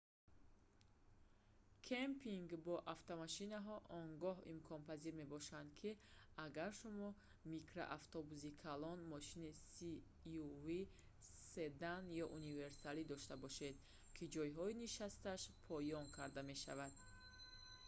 кэмпинг бо автомошинҳо он гоҳ имконпазир мебошад ки агар шумо микроавтобуси калон мошини suv седан ё универсале дошта бошед ки ҷойҳои нишасташ поён карда мешаванд